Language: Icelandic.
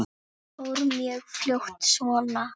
Hann fór mjög fljótt svona.